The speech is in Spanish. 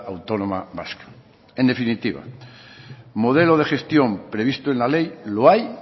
autónoma vasca en definitiva modelo de gestión previsto en la ley lo hay